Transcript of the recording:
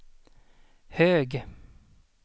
hög